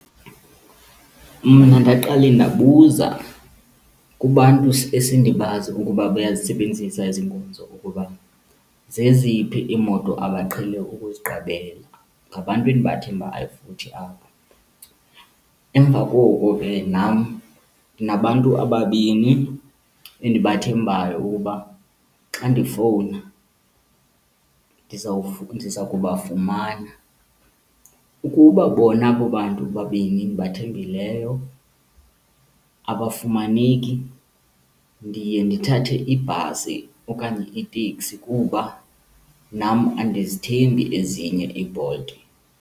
Mna ndaqale ndabuza kubantu esendibazi ukuba bayazisebenzisa ezi nkonzo ukuba zeziphi iimoto abaqhele ukuziqabela, ngabantu endibathembayo futhi abo. Emva koko ke nam ndinabantu ababini endibathembayo ukuba xa ndifowuna ndiza kubafumana. Ukuba bona abo bantu babini ndibathembileyo abafumaneki, ndiye ndithathe ibhasi okanye iteksi kuba nam andizithembi ezinye iiBolt.